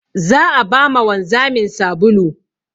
Za a ba ma wanzamin sabulu.